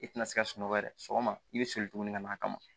I tina se ka sunɔgɔ yɛrɛ sɔgɔma i bɛ soli tugun ka n'a kama